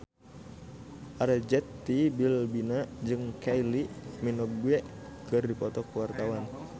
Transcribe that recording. Arzetti Bilbina jeung Kylie Minogue keur dipoto ku wartawan